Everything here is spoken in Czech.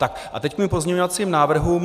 Tak a teď k mým pozměňovacím návrhům.